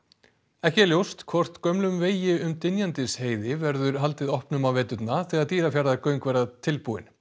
ekki er ljóst hvort gömlum vegi um Dynjandisheiði verður haldið opnum á veturna þegar Dýrafjarðargöng verða tilbúin